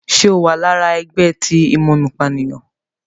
Ṣe o àrà ẹgbẹ ti imomopaniyan?